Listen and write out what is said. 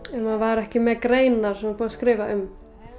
ef maður var ekki með greinar sem var búið að skrifa um